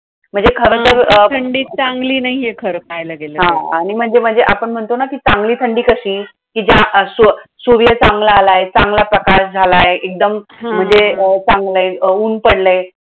म्हणजे खरं तर असं थंडीचं चांगली नाहीये खरं पाहायला गेलं तर. हा आणि म्हणजे म्हणजे आपण म्हणतो ना कि चांगली थंडी कशी? ज्या अस्व सूर्य चांगला आलाय, चांगला प्रकाश झालाय. एकदम हां हां हां! म्हणजे चांगलंय अं उन्हं पडलंय